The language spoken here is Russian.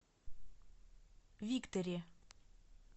викторе